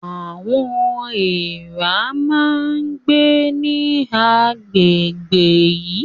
Àwọn èèrà máa ń gbé ní àgbègbè yìí